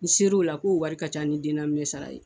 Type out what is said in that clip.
N ser'o la k'o wari ka ca sara ye.